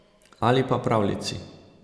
Ali pa pravljici.